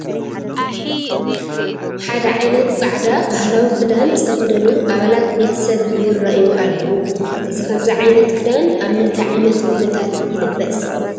ሓደ ዓይነት ፃዕዳ ባህላዊ ክዳን ዝተኸደኑ ኣባላት ቤተ ሰብ ይርአዩ ኣለዉ፡፡ እዚ ከምዚ ዓይነት ክዳን ኣብ ምንታይ ዓይነት ኩነታት ይልበስ?